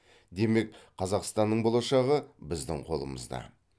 демек қазақстанның болашағы біздің қолымызда